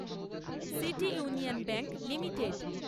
city Union Bank limited